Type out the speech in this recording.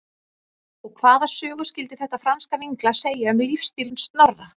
Og hvaða sögu skyldi þetta franska vínglas segja um lífsstíl Snorra?